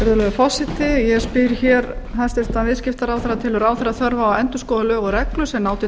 forseti ég spyr hér hæstvirtur viðskiptaráðherra telur ráðherra þörf á að endurskoða lög og reglur sem ná til